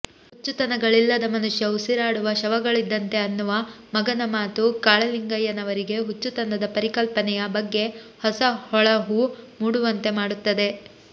ಹುಚ್ಚುತನಗಳಿಲ್ಲದ ಮನುಷ್ಯ ಉಸಿರಾಡುವ ಶವಗಳಿದ್ದಂತೆ ಅನ್ನುವ ಮಗನ ಮಾತು ಕಾಳಲಿಂಗಯ್ಯನವರಿಗೆ ಹುಚ್ಚುತನದ ಪರಿಕಲ್ಪನೆಯ ಬಗ್ಗೆ ಹೊಸ ಹೊಳಹು ಮೂಡುವಂತೆ ಮಾಡುತ್ತದೆ